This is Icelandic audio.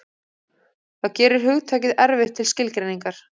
Það gerir hugtakið erfitt til skilgreiningar.